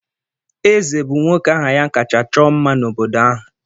Eze bụ nwoke aha ya kacha chọọ mma n'obodo ahụ.